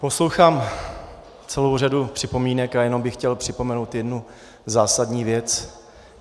Poslouchám celou řadu připomínek a jenom bych chtěl připomenout jednu zásadní věc.